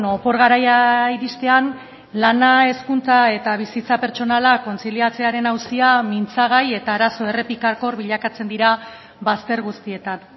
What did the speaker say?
opor garaia iristean lana hezkuntza eta bizitza pertsonala kontziliatzearen auzia mintzagai eta arazo errepikakor bilakatzen dira bazter guztietan